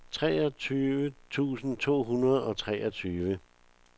treogtyve tusind to hundrede og treogtyve